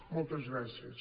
moltes gràcies